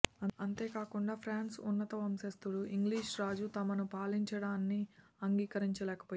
అంతేకాకుండా ఫ్రానుసు ఉన్నత వంశస్థులు ఇంగ్లీషు రాజు తమను పాలించడాన్ని అంగీకరించలేకపోయారు